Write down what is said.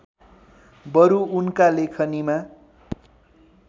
बरु उनका लेखनीमा